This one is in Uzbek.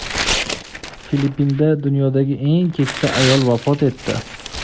Filippinda dunyodagi eng keksa ayol vafot etdi.